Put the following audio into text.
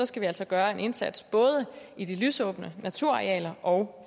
skal vi altså gøre en indsats både i de lysåbne naturarealer og